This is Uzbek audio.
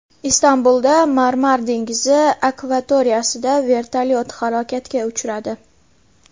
Istanbulda Marmar dengizi akvatoriyasida vertolyot halokatga uchradi.